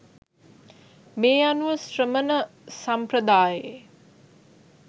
මේ අනුව ශ්‍රමණ සම්ප්‍රදායේ